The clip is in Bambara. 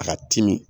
A ka timi